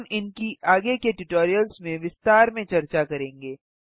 हम इनकी आगे के ट्यूटोरियल्स में विस्तार में चर्चा करेंगे